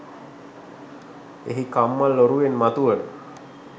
එහි කම්මල් ඔරුවෙන් මතුවන